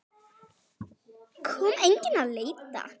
Kom enginn að leita?